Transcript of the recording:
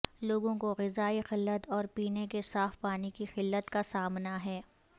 لوگوں کو غذائی قلت اور پینے کے صاف پانی کی قلت کا سامنا ہے